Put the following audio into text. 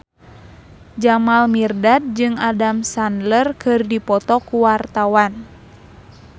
Jamal Mirdad jeung Adam Sandler keur dipoto ku wartawan